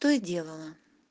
то и делала